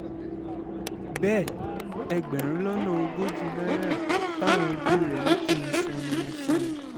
bẹ́ẹ̀ ẹgbẹ̀rún lọ́nà ogójì náírà táwọn ẹbí rẹ̀ ní kí n san ni mo fún wọn